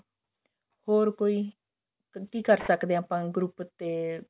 ਹੋਰ ਕੋਈ ਕਿ ਕਰ ਸਕਦੇ ਆ ਆਪਾਂ group ਤੇ